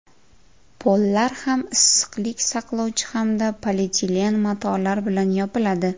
Pollar ham issiqlik saqlovchi hamda polietilen matolar bilan yopiladi.